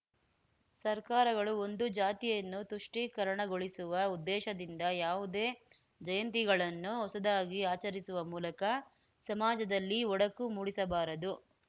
ಸರ್ಕಾರಗಳು ಒಂದು ಜಾತಿಯನ್ನು ತುಷ್ಟೀಕರಣಗೊಳಿಸುವ ಉದ್ದೇಶದಿಂದ ಯಾವುದೇ ಜಯಂತಿಗಳನ್ನು ಹೊಸದಾಗಿ ಆಚರಿಸುವ ಮೂಲಕ ಸಮಾಜದಲ್ಲಿ ಒಡಕು ಮೂಡಿಸಬಾರದು